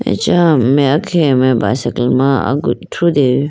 acha meya khege mai bicycle ma agu thrudeyibo.